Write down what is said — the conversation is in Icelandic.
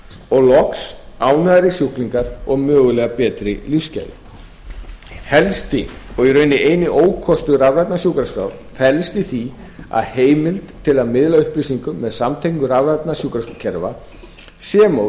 og loks ánægðari sjúklingar og mögulega betri lífsgæði helsti og raunar eini ókostur rafrænnar sjúkraskrár felst í því að heimild til að miðla upplýsingum með samtengingar rafrænna sjúkrakerfa sem og